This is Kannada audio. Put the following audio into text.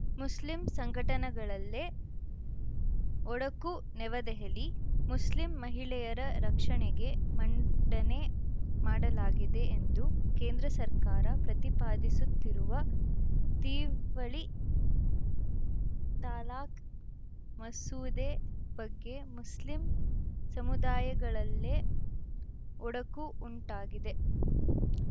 ಮುಸ್ಲಿಂ ಸಂಘಟನೆಗಳಲ್ಲೇ ಒಡಕು ನವದೆಹಲಿ ಮುಸ್ಲಿಂ ಮಹಿಳೆಯರ ರಕ್ಷಣೆಗೆ ಮಂಡನೆ ಮಾಡಲಾಗಿದೆ ಎಂದು ಕೇಂದ್ರ ಸರ್ಕಾರ ಪ್ರತಿಪಾದಿಸುತ್ತಿರುವ ತಿವಳಿ ತಲಾಖ್‌ ಮಸೂದೆ ಬಗ್ಗೆ ಮುಸ್ಲಿಂ ಸಮುದಾಯಗಳಲ್ಲೇ ಒಡಕು ಉಂಟಾಗಿದೆ